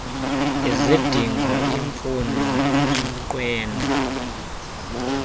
izidingo iimfuno iminqweno